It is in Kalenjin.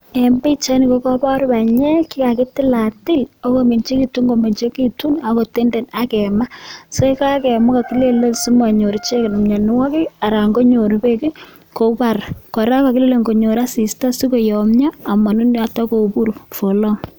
En pichaini kokobor banyek che kakitilatil ako meng'ekitun komeng'ekitun ak kotenden ak kemaa sikai kemaa ko kokilelen sikonyor icheket mionwokik aran konyor beek kobar, kora ko kokile konyor asista sikoyomnyo amonunuot ak kobur for long.